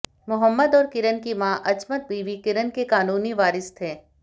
मुहम्मद और किरण की मां अजमत बीबी किरण के कानूनी वारिस थे